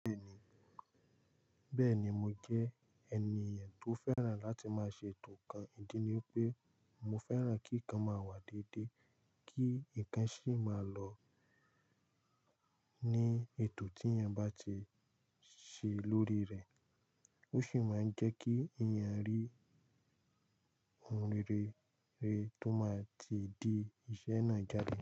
Bẹ́ẹ̀ni mo jẹ́ ènìyàn tó fẹ́ràn láti máa ṣe ètò kan. Ìdí ni pé mo fẹ́ràn kí kan máa wà dédé, kí ǹkan sì máa lọ ní ètò tí ènìyàn bá ti ṣe lórí rẹ̀. Ó sì máa ń jẹ́ kí ènìyàn rí ohun rere tó máa ti di iṣẹ́ náà jáde.